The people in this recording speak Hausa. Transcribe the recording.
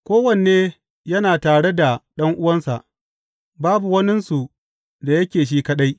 Kowanne yana tare da ɗan’uwansa; babu waninsu da yake shi kaɗai.